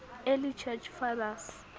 early church fathers